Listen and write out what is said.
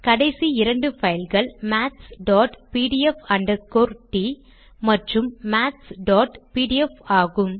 கடைசி இரண்டு பைல்கள் mathspdf t மற்றும் mathsபிடிஎஃப் ஆகும்